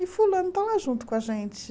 E fulano está lá junto com a gente.